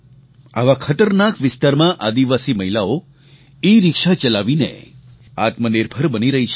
આવા ખતરનાક વિસ્તારમાં આદિવાસી મહિલાઓ એરિક્શા ચલાવીને આત્મનિર્ભર બની રહી છે